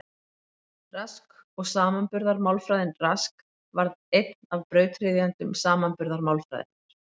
Rask og samanburðarmálfræðin Rask varð einn af brautryðjendum samanburðarmálfræðinnar.